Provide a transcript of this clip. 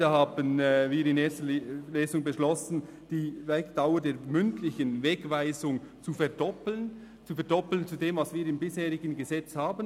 Da haben wir in der ersten Lesung beschlossen, die Dauer der mündlichen Wegweisung zu verdoppeln – zu verdoppeln gegenüber dem, was wir im bisherigen Gesetz haben;